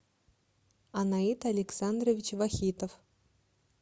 анаит александрович вахитов